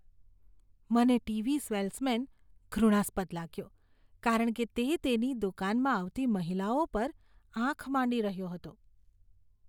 મને TV salesman ઘૃણાસ્પદ લાગ્યો, કારણ કે તે તેની દુકાનમાં આવતી મહિલાઓ પર આંખ માંડી રહ્યો હતો.